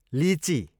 लिची